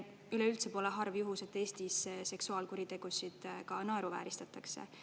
Üleüldse pole harv juhus, et Eestis seksuaalkuritegusid ka naeruvääristatakse.